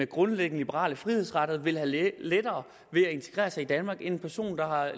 grundlæggende liberale frihedsrettigheder vil have lettere ved at integrere sig i danmark end en person der er